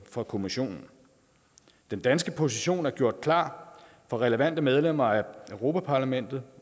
fra kommissionen den danske position er gjort klar for relevante medlemmer af europa parlamentet